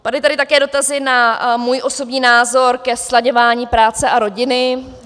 Padly tady také dotazy na můj osobní názor ke slaďování práce a rodiny.